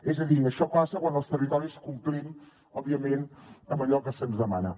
és a dir això passa quan els territoris complim òbviament amb allò que se’ns demana